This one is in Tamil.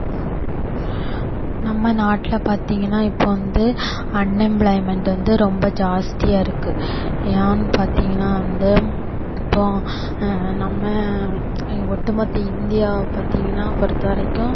நம்ம நாட்டுல பாத்தீங்கன்னா இப்போ வந்து unemployment வந்து ரொம்ப ஜாஸ்தியா இருக்கு. ஏன்னு பாத்தீங்கன்னா வந்து இப்போ ஆஹ் நம்ம இங்க ஒட்டுமொத்த இந்தியாவ பாத்தீங்கன்னா பொறுத்தவரைக்கும்